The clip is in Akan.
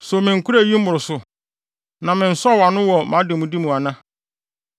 “So menkoraa eyi mmoroso, na mensɔw ano wɔ mʼademude mu ana